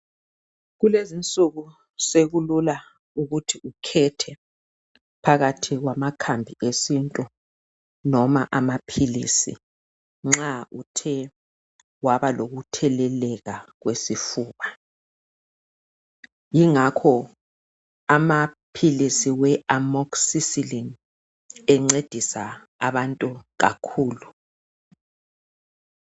Kulezinsuku sekulula ukuthi ukhethe phakathi kwamakhambi esintu noma amaphilisi, nxa uthe waba lokutheleleka kwesifuba. Ingakho amaphilisi awe amoxicillin encedisa abantu kakhulu.